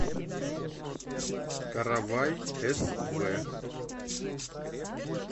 каравай св